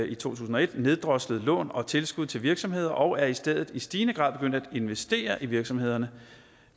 i to tusind og et neddroslet lån og tilskud til virksomheder og er i stedet i stigende grad begyndt at investere i virksomhederne